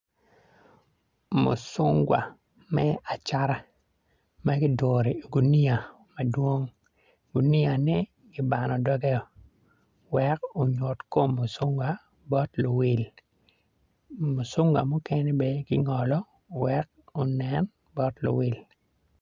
Mucungwa me acata ma giduru iguniya madwong guniyane kibano doge-o wek onyut kom mucungwa bot luwil mucungwa mukene bene kingolo wek onen bot luwil